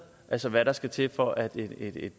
altså hvad der skal til for at